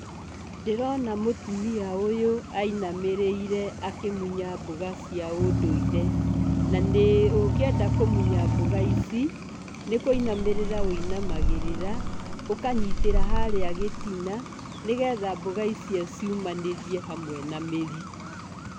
Ndĩrona mũtumia ũyũ ainamĩrĩire akĩmunya mboga cia ũndũire, na nĩ, ũngĩenda kũmũnya mboga ici, nĩkũinamĩrĩra ũinamagĩrĩraga ũkanyitĩra harĩa gĩtina, nĩgetha mboga ici ciumanĩrie hamwe na mĩri.